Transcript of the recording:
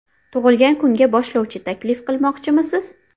Tug‘ilgan kunga boshlovchi taklif qilmoqchimisiz?